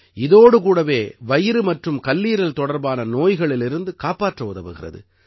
இதோடு கூடவே வயிறு மற்றும் கல்லீரல் தொடர்பான நோய்களிலிருந்து காப்பாற்ற உதவுகிறது